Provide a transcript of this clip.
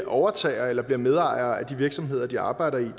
overtager eller bliver medejere af de virksomheder de arbejder i det